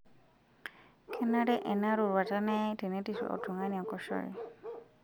Kenare ena roruata neyai tenetirr oltung'ani enkoshoke.